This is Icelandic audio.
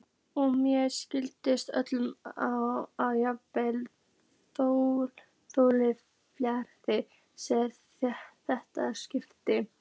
Og mér sýnist á öllu, að jafnaðarþjóðfélagið sé réttlát skipan.